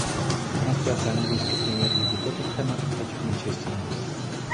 трансляция английской премьер лиги тоттенхэма против манчестера